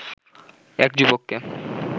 এক যুবককে